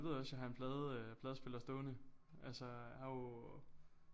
Du ved også jeg har en plade øh pladespiller stående altså er jo